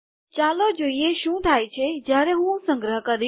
ચાલો જોઈએ શું થાય છે જ્યારે હું સંગ્રહ કરીશ